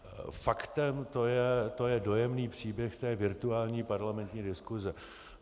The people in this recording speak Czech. Faktem to je dojemný příběh té virtuální parlamentní diskuse.